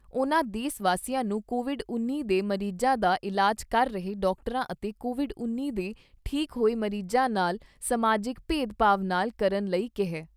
ਉਨ੍ਹਾਂ ਦੇਸ਼ ਵਾਸੀਆਂ ਨੂੰ ਕੋਵਿਡ ਉੱਨੀ ਦੇ ਮਰੀਜਾਂ ਦਾ ਇਲਾਜ ਕਰ ਰਹੇ ਡਾਕਟਰਾਂ ਅਤੇ ਕੋਵਿਡ ਉੱਨੀ ਦੇ ਠੀਕ ਹੋਏ ਮਰੀਜ਼ਾਂ ਨਾਲ ਸਮਾਜਿਕ ਭੇਦ ਭਾਵ ਨਾਲ ਕਰਨ ਲਈ ਕਿਹਾ ।